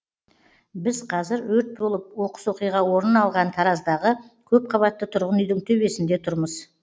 біз қазір өрт болып оқыс оқиға орын алған тараздағы көпқабатты тұрғын үйдің төбесінде тұрмыз